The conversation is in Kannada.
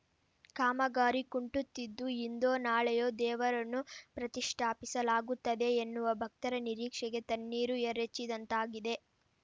ಕಾಮಗಾರಿ ಕುಂಟುತ್ತಿದ್ದು ಇಂದೋ ನಾಳೆಯೋ ದೇವರನ್ನು ಪ್ರತಿಷ್ಟಾಪಿಸಲಾಗುತ್ತದೆ ಎನ್ನುವ ಭಕ್ತರ ನಿರೀಕ್ಷೆಗೆ ತಣ್ಣೀರು ಎರಚಿದಂತಾಗಿದೆ